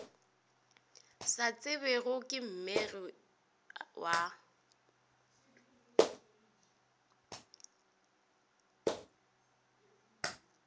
sa tsebjego ke mmegedi wa